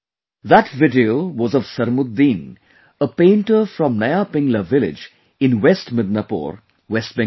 That video was of Sarmuddin, a painter from Naya Pingla village in West Midnapore, West Bengal